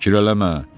Fikir eləmə.